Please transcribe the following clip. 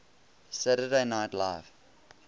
saturday night live